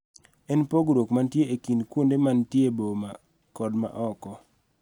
En pogruok mantie e kind kuonde ma nitie boma kod ma oko.